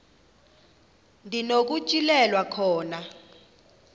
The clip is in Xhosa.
ndi nokutyhilelwa khona